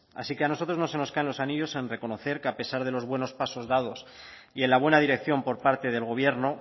así que a nosotros no se nos caen los anillos en reconocer que a pesar de los buenos pasos dados y en la buena dirección por parte del gobierno